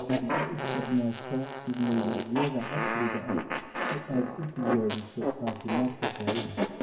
Ma u isticmaashaa tignoolajiyada casriga ah si aad u tijaabiso caafimaadka xoolaha?